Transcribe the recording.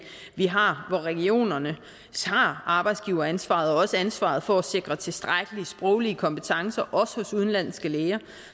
vi har hvor regionerne tager arbejdsgiveransvaret og også ansvaret for at sikre tilstrækkelige sproglige kompetencer hos udenlandske læger